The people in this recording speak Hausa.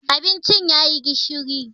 Abincin ya yi gishiri.